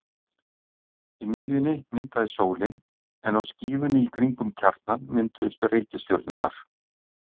Í miðjunni myndaðist sólin en á skífunni í kring um kjarnann mynduðust reikistjörnurnar.